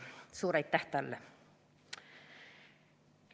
Suur aitäh talle!